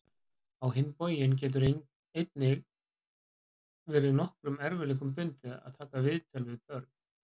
Á hinn bóginn getur einnig verið nokkrum erfiðleikum bundið að taka viðtöl við börn.